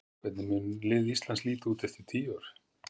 Hvernig mun lið Íslands líta út eftir tíu ár?